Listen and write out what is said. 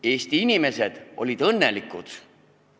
Eesti inimesed olid õnnelikud.